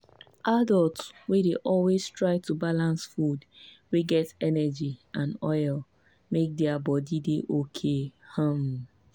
adults dey always try to balance food wey get energy and oil make their body dey okay. um